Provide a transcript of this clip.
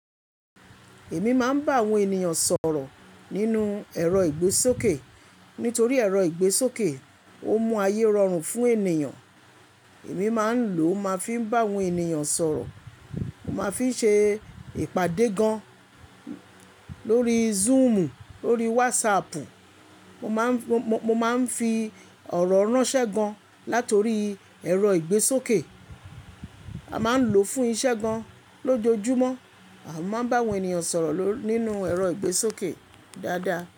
Èmi máa ń bá àwọn ènìyàn sọ̀rọ̀ nínú ẹ̀rọ ìgbésókè. Nítorí ẹ̀rọ ìgbésókè ó mú ayé rọrùn fún ènìyàn. Èmi máa ń lò ó máa fi ń bá àwọn ènìyàn sọ̀rọ̀. Mo máa ń fi ń ṣe ìpàdé gan lórí Zoomu, lórí WhatsAppu. Mo máa ń fi ọ̀rọ̀ ránṣẹ́ gan látorí ẹ̀rọ ìgbésókè. A máa ń lò ó fún iṣẹ́ gan lójoojúmọ́. A máa ń bá àwọn ènìyàn sọ̀rọ̀ ló nínú ẹ̀rọ ìgbésókè dáadáa.